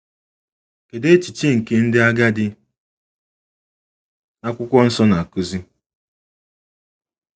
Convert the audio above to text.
Kedụ echiche nke ndị agadi akwụkwọ nsọ na-akụzi?